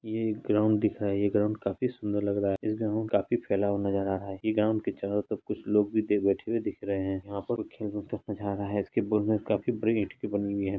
ये एक ग्राउंड दिख रहा है ये ग्राउंड काफी सुंदर लग रहा है ये ग्राउंड काफी फैला हुआ नजर आ रहा है ये ग्राउंड के चारों तरफ कुछ लोग भी बैठे हुए दिख रहे है यहाँ पर नजारा है इसके काफी बड़ी ईंट के बने हुए है।